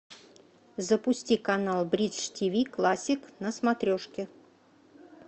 запусти канал бридж тв классик на смотрешке